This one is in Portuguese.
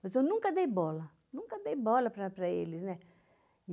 Mas eu nunca dei bola, nunca dei bola para para eles, né?